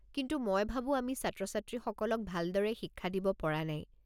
কিন্তু মই ভাবো আমি ছাত্ৰ-ছাত্ৰীসকলক ভালদৰে শিক্ষা দিব পৰা নাই।